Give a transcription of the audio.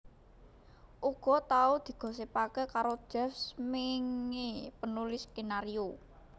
Uga tau digosipaké karo Jeff Smeenge penulis skenario